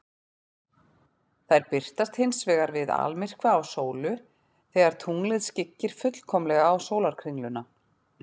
Þær birtast hins vegar við almyrkva á sólu, þegar tunglið skyggir fullkomlega á sólarkringluna.